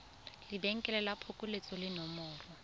lebenkele la phokoletso le nomoro